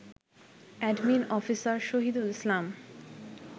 admin officer Shahidul Islam